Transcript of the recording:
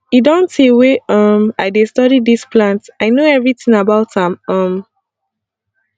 e don tey wey um i dey study dis plant i know everything about am um